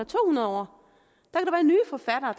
to hundrede år